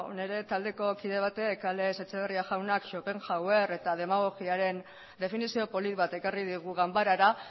nire taldeko kide batek alex etxeberria jaunak schopenhauer eta demagogiaren definizio polit bat ekarri digu ganbarara